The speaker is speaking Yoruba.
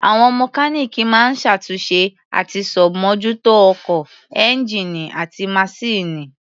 Àwọn mọkáníìkì máa ń ṣàtúnṣe àti ṣàbmójútó ọkọ̀, ẹ́ńgíìnì àti maṣíìnì.